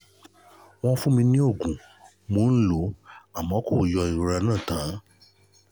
wọ́n fún mi ní oògùn mò ń lò ó àmọ́ kò yọ ìrora náà tán